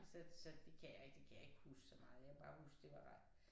Så så det kan jeg ikke det kan jeg ikke huske så meget jeg kan bare huske det var ret